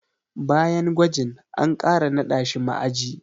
Bayan gwajin, an ƙara naɗa shi ma'aji.